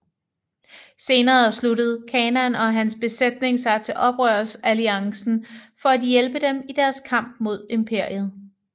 Senere slutter Kanan og hans besætning sig til Oprørsalliancen for at hjælpe dem i deres kamp mod imperiet